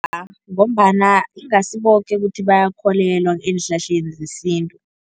Ngombana ingasi boke ukuthi bayakholelwa eenhlahleni zesintu.